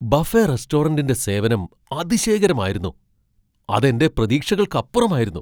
Buffet റെസ്റ്റോറന്റിന്റെ സേവനം അതിശയകരമായിരുന്നു, അത് എന്റെ പ്രതീക്ഷകൾക്കപ്പുറമായിരുന്നു!